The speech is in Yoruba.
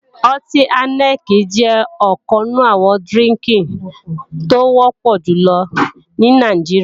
Ọtí áíníkì jẹ́ ọ̀kan nínú àwọn dírínkì tó wọ́pọ̀ jùlọ ní Nàìjíríà